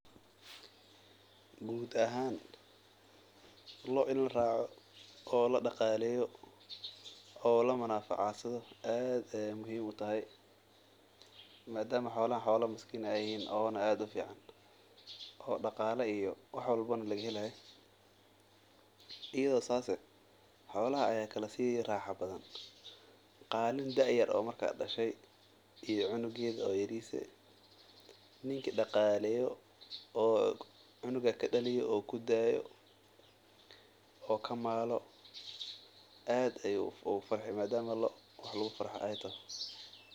Guud ahaan loo in laraaco oo la daqaleeyo aad ayeey muhiim utahay madama miskiim aay yihiin oo daqala laga helaayo, ayado saas ah aad ayeey ukala raaxa badan yihiin, aad ayuu ugu farxi madama wax lagu farxo aay tahay.